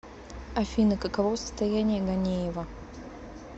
афина каково состояние ганеева